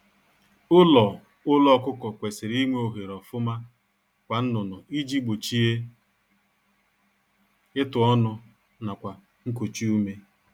Ụlọ Ụlọ ọkụkọ kwesịrị inwe ohere ofuma kwa nnụnụ iji gbochie ịtụ ọnụ nakwa nkochi ume